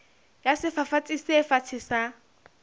ya sefafatsi se fatshe sa